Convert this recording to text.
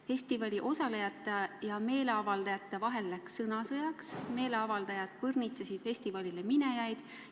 Festivalil osalejate ja meeleavaldajate vahel läks sõnasõjaks, meeleavaldajad põrnitsesid üritusele minejaid.